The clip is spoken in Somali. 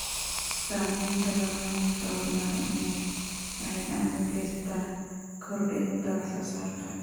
Samaynta barnaamijyo horumarineed waxay gacan ka geysataa kordhinta wax soo saarka.